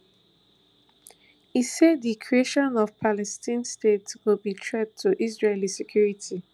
e say di creation of palestine state go be threat to israeli security